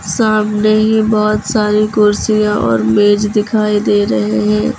सामने ही बहुत सारी कुर्सियां और मेज दिखाई दे रहे हैं।